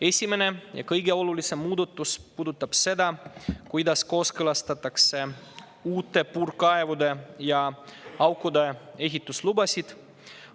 Esimene ja kõige olulisem muudatus puudutab seda, kuidas kooskõlastatakse uute puurkaevude ja ‑aukude ehituslubasid.